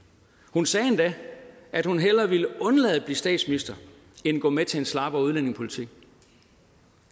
hun sagde endda at hun hellere ville undlade at blive statsminister end at gå med til en slappere udlændingepolitik